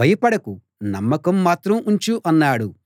భయపడకు నమ్మకం మాత్రం ఉంచు అన్నాడు